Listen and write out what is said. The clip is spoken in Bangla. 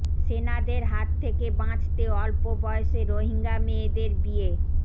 সেনাদের হাত থেকে বাঁচতে অল্প বয়সে রোহিঙ্গা মেয়েদের বিয়ে